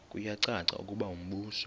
kuyacaca ukuba umbuso